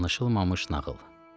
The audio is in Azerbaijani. Danışılmamış nağıl.